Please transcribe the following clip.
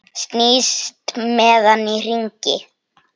Snýst með hann í hringi.